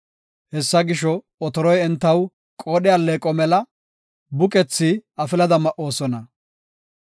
Hessa gisho, otoroy entaw qoodhe alleeqo mela; buqethi afilada ma7idosona.